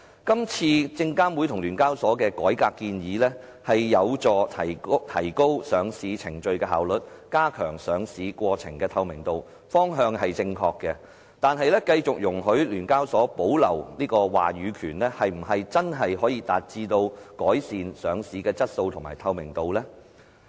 今次證監會及聯交所的改革建議有助提高上市程序的效率，加強上市過程的透明度，方向是正確的，但繼續容許聯交所保留話語權，是否真的可以達致改善上市的質素及透明度呢？